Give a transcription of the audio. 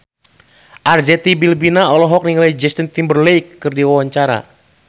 Arzetti Bilbina olohok ningali Justin Timberlake keur diwawancara